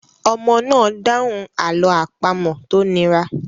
Ọmọ náà dáhùn àlọ́ àpamọ̀ tó nira.